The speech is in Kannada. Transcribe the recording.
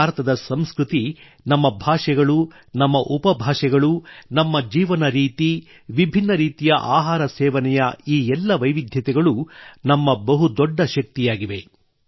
ಭಾರತದ ಸಂಸ್ಕೃತಿ ನಮ್ಮ ಭಾಷೆಗಳು ನಮ್ಮ ಉಪಭಾಷೆಗಳು ನಮ್ಮ ಜೀವನ ರೀತಿ ವಿಭಿನ್ನ ರೀತಿಯ ಆಹಾರ ಸೇವನೆ ಈ ಎಲ್ಲ ವೈವಿಧ್ಯಗಳು ನಮ್ಮ ಬಹುದೊಡ್ಡ ಶಕ್ತಿಯಾಗಿವೆ